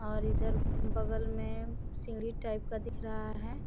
और इधर बगल में सीढ़ी टाइप का दिख रहा है।